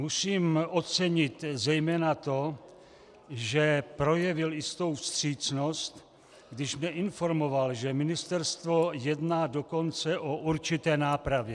Musím ocenit zejména to, že projevil jistou vstřícnost, když mě informoval, že ministerstvo jedná dokonce o určité nápravě.